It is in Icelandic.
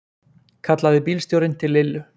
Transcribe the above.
kallaði bílstjórinn til Lillu.